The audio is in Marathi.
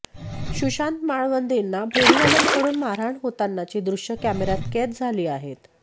सुशांत माळवदेंना फेरीवाल्यांकडून मारहाण होतानाची दृश्ये कॅमेर्यात कैद झाली आहेत